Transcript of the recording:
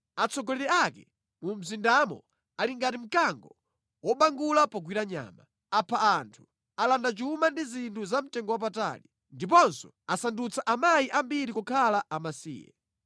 Atsogoleri ake mu mzindamo ali ngati mkango wobangula pogwira nyama. Apha anthu, alanda chuma ndi zinthu za mtengowapatali, ndiponso asandutsa amayi ambiri kukhala amasiye.